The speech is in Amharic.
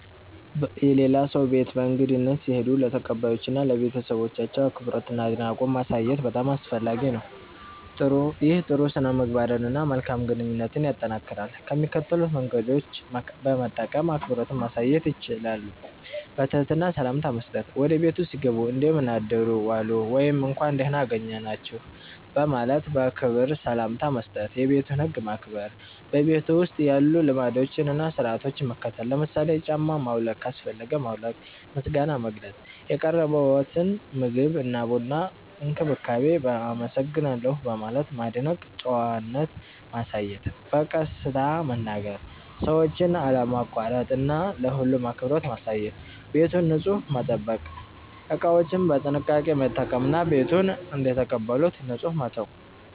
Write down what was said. የሌላ ሰው ቤት በእንግድነት ሲሄዱ ለተቀባዮቹ እና ለቤተሰባቸው አክብሮትና አድናቆት ማሳየት በጣም አስፈላጊ ነው። ይህ ጥሩ ሥነ-ምግባርን እና መልካም ግንኙነትን ያጠናክራል። ከሚከተሉት መንገዶች በመጠቀም አክብሮትዎን ማሳየት ይችላሉ፦ በትህትና ሰላምታ መስጠት – ወደ ቤቱ ሲገቡ “እንደምን አደሩ/ዋሉ” ወይም “እንኳን ደህና አገኘናችሁ” በማለት በክብር ሰላምታ መስጠት። የቤቱን ህግ ማክበር – በቤቱ ውስጥ ያሉ ልማዶችን እና ሥርዓቶችን መከተል። ለምሳሌ ጫማ ማውለቅ ካስፈለገ ማውለቅ። ምስጋና መግለጽ – የቀረበልዎትን ምግብ፣ ቡና ወይም እንክብካቤ በ“አመሰግናለሁ” በማለት ማድነቅ። ጨዋነት ማሳየት – በቀስታ መናገር፣ ሰዎችን አለማቋረጥ እና ለሁሉም አክብሮት ማሳየት። ቤቱን ንጹህ መጠበቅ – እቃዎችን በጥንቃቄ መጠቀም እና ቤቱን እንደተቀበሉት ንጹህ መተው።